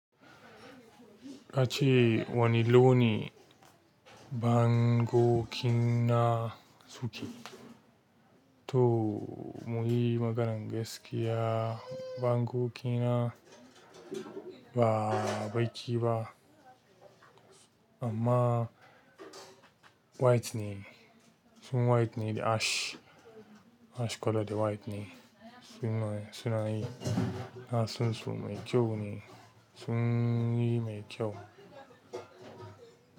Ka ce wane launin bango kina suke? To muyi maganar gaskiya bango kina ba baiki ba amma white ne, sun white ne da ash, ash colour da white ne. Sunan sunan yi, sunan su mai kyau ne, sun yi mai kyau.